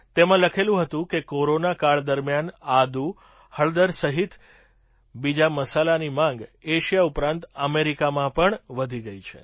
તેમાં લખેલું હતું કે કોરોના કાળ દરમિયાન આદુ હળદર સહિત બીજા મસાલાની માગ એશિયા ઉપરાંત અમેરિકામાં પણ વધી ગઈ છે